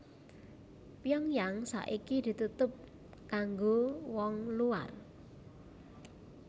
Pyongyang saiki ditutup kanggo wong luar